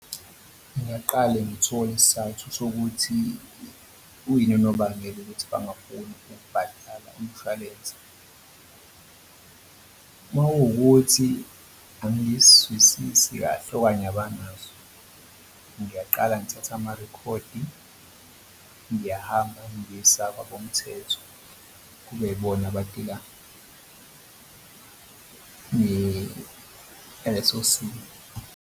Ngingaqale ngithole isizathu sokuthi uyini unobangela ukuthi bangafuni ukubhatala umshwalense. Uma kuwukuthi angiyiswisisi kahle okanye abanazo, ngiyaqala ngithatha amarekhodi ngiyahamba ngiyisa kwabomthetho kube yibona abadila naleso simo.